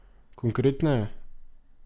Konkretneje?